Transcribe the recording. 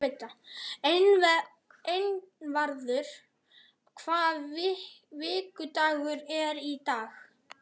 Einvarður, hvaða vikudagur er í dag?